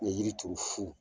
N ye yiri turu fu